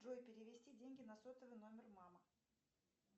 джой перевести деньги на сотовый номер мамы